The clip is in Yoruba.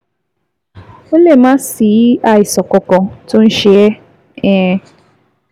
Ó lè má sí àìsàn kankan tó ń ṣe ẹ́ um